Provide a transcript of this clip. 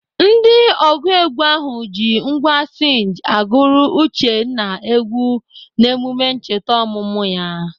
Ndị ọgụ egwu ahụ ji ngwá sinj agụrụ Uchenna egwu n'emume ncheta ọmụmụ ya.